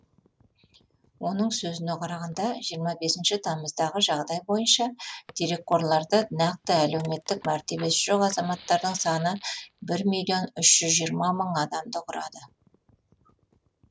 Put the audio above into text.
оның сөзіне қарағанда жиырма бесінші тамыздағы жағдай бойынша дерекқорларды нақты әлеуметтік мәртебесі жоқ азаматтардың саны бір миллион үш жүз мың адамды құрады